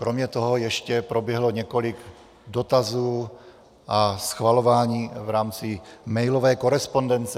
Kromě toho ještě proběhlo několik dotazů a schvalování v rámci mailové korespondence.